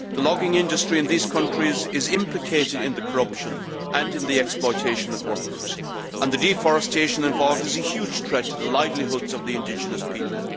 The logging industry in these countries is implicated in corruption and in the exploitation of workers and the deforestation involved is a huge threat to the livelihoods of the indigenous people.